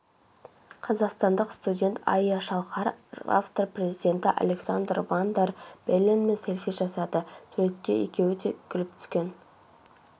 қазақстандық студент айя шалқар австрия президентіалександр ван дер белленмен селфи жасады суретке екеуі де күліп түскен